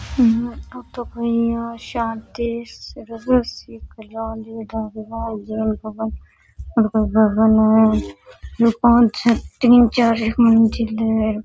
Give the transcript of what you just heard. तीन चार एक मंजिल है।